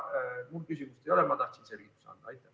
Küsimust mul ei ole, ma tahtsin lihtsalt selgitada.